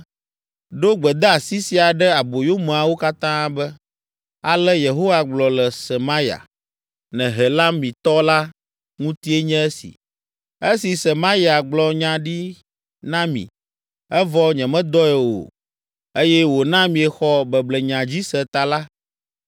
“Ɖo gbedeasi sia ɖe aboyomeawo katã be, ‘Ale Yehowa gblɔ le Semaya, Nehelamitɔ la ŋutie nye esi: “Esi Semaya gblɔ nya ɖi na mi, evɔ nyemedɔe o eye wòna miexɔ beblenya dzi se ta la,”